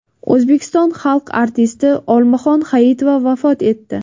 O‘zbekiston xalq artisti Olmaxon Hayitova vafot etdi.